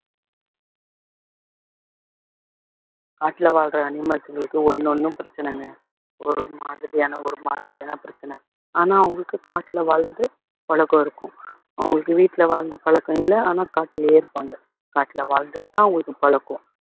காட்டுல வாழ்ற animals ங்களுக்கு ஒண்ணு ஒண்ணும் பிரச்சனைங்க ஒரு மாதிரியான ஒரு மாதிரியான பிரச்சனை ஆனா அவங்களுக்கு காட்டுல வாழ்ந்து பழக்கம் இருக்கும் அவங்களுக்கு வீட்டுல வாழ்ந்த பழக்கம் இல்ல ஆனா காட்டுலயே இருப்பாங்க காட்டுல வாழ்ந்துட்டுதான் அவங்களுக்கு பழக்கம்